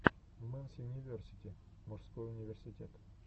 мэнс юниверсити мужской университет